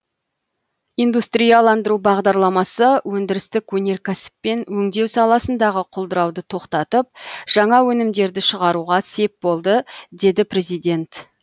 индустрияландыру бағдарламасы өндірістік өнеркәсіп пен өңдеу саласындағы құлдырауды тоқтатып жаңа өнімдерді шығаруға сеп болды деді президент